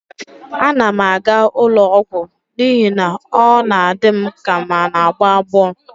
Ana m aga ụlọ ọgwụ n'ihi na ọ na-adị m ka m n'agbọ agbọ